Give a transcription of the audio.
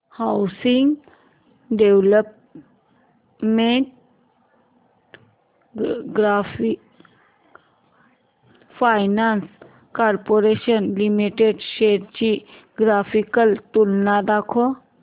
housing development finance corporation limited shares ची graphical तुलना दाखव